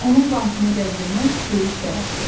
Onun bantını gəzdirmək böyük şərəfdir.